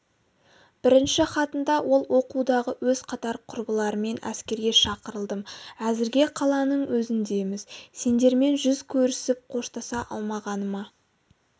бірінші хатында ол оқудағы өз қатар-құрбыларыммен әскерге шақырылдым әзірге қаланың өзіндеміз сендермен жүз көрісіп қоштаса алмағаныма